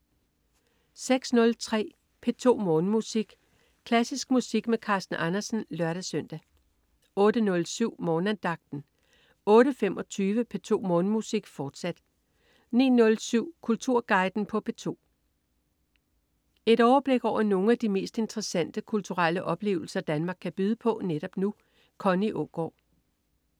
06.03 P2 Morgenmusik. Klassisk musik med Carsten Andersen (lør-søn) 08.07 Morgenandagten 08.25 P2 Morgenmusik, fortsat 09.07 Kulturguiden på P2. Et overblik over nogle af de mest interessante kulturelle oplevelser Danmark kan byde på netop nu. Connie Aagaard